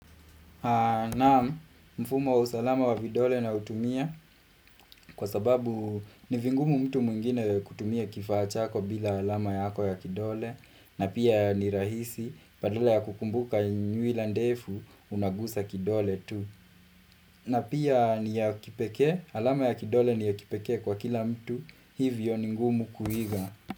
Naam, mfumo usalama wa vidole nautumia kwa sababu ni vigumu mtu mwingine kutumia kifaa chako bila alama yako ya kidole na pia ni rahisi badala ya kukumbuka nyuwila ndefu unagusa kidole tu. Na pia ni ya kipeke, alama ya kidole ni ya kipeke kwa kila mtu hivyo ni ngumu kuiga.